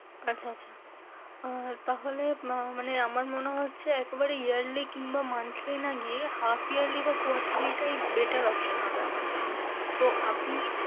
আচ্ছা, আচ্ছা! আহ তাহলে আপনার মানে আমার মনে হচ্ছে একবারে yearly কিংবা monthly না গিয়ে half yearly বা quarterly টাই better option হবে আমার জন্য। তো আপনি,